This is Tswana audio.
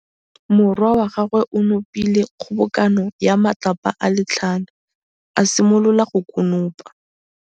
Morwa wa gagwe o nopile kgobokanô ya matlapa a le tlhano, a simolola go konopa.